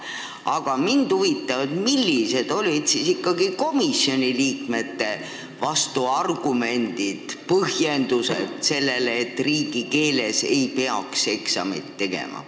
Aga mind huvitab, millised olid ikkagi komisjoni liikmete vastuargumendid ja põhjendused, miks riigikeeles ei peaks eksamit tegema.